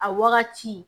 A wagati